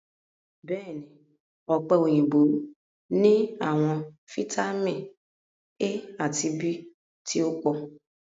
Bẹẹni, ọpe oyinbo ni awọn fitamin A ati B ti o po